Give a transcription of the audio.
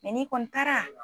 n'i kɔni taara